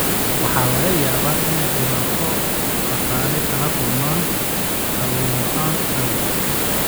Waxa laga yaabaa inay dhibaato dhaqaale kala kulmaan kalluun la'aan awgeed.